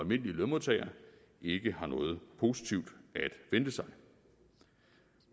lønmodtagere ikke har noget positivt at vente sig